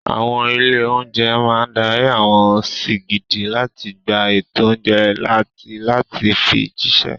Àwọn ilé-oúnjẹ máa dárí àwọn sìgìdì láti gba ètò oúnjẹ àti láti fi jíṣẹ́.